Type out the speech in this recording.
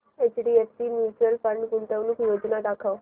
HDFC mutual fund गुंतवणूक योजना दाखव